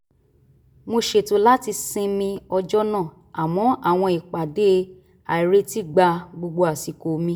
mo ṣètò láti sinmi ọjọ́ náà àmọ́ àwọn ìpàdé àìretí gba gbogbo àsìkò mi